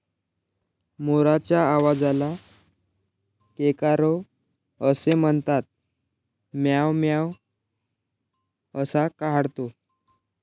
मोराच्या आवाजाला केकारव असे म्हणतात. म्याव म्याव असा काढतो.